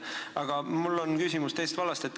Aga mul on küsimus teisest vallast.